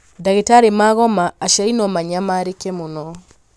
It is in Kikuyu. ndagĩtarĩ magoma aciari no manyamarĩke mũno